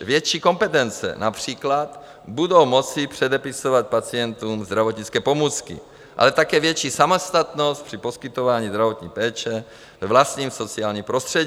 větší kompetence, například budou moci předepisovat pacientům zdravotnické pomůcky, ale také větší samostatnost při poskytování zdravotní péče ve vlastním sociálním prostředí.